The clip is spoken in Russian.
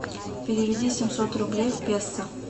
переведи семьсот рублей в песо